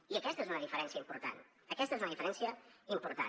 i aquesta és una diferència important aquesta és una diferència important